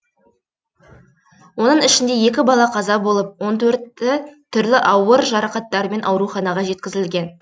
оның ішінде екі бала қаза болып он төрті түрлі ауыр жарақаттармен ауруханаға жеткізілген